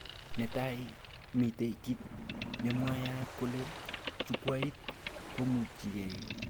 Netai, mitee kit nemwayat kole chukwait komuchike